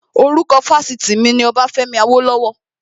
Orúkọ Fásitì mi ni Ọbafẹ́mi Awólọ́wọ̀